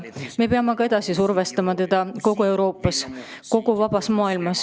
Me peame Venemaad ka edasi survestama, seda peab tegema terve Euroopa, terve vaba maailm.